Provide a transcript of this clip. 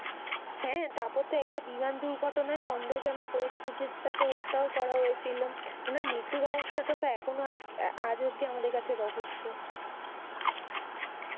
হ্যাঁ। তারপর তো একটা বিমান দূর্ঘণায় সন্ধেহজনক পরিস্থিতিতে তাকে হত্যাও করা হয়েছিল। উনার মৃত্যু রহস্যটা তো এখনো আজ অব্ধি আমাদের কাছে রহস্য।